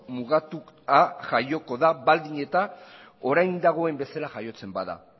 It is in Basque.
mugatua jaioko da baldin eta orain dagoen bezala jaiotzen bada